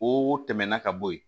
O tɛmɛnan ka bɔ yen